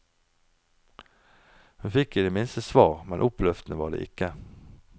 Hun fikk i det minste svar, men oppløftende var det ikke.